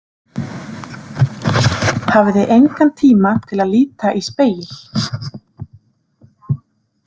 Hafði engan tíma til að líta í spegil.